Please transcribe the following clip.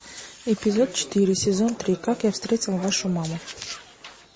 эпизод четыре сезон три как я встретил вашу маму